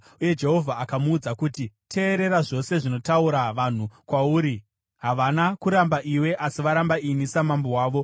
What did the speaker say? Uye Jehovha akamuudza kuti: “Teerera zvose zvinotaura vanhu kwauri; havana kuramba iwe, asi varamba ini samambo wavo.